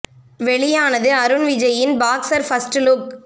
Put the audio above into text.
வெளியானது அருன் விஜய் இன் boxer first look